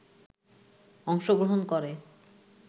অংশগ্রহণ করে